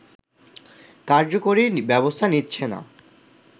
কার্যকরী ব্যবস্থা নিচ্ছে না